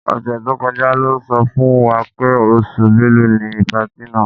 Ọ̀sẹ̀ tó kọjá lọ́ sọ fún wa pé oṣù Bẹ́lu ni patí náà.